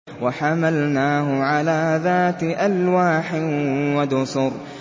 وَحَمَلْنَاهُ عَلَىٰ ذَاتِ أَلْوَاحٍ وَدُسُرٍ